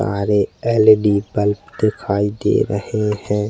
तारे LED bulb दिखाई दे रहे है।